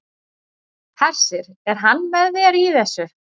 Hersir: Er hann með þér í þessu?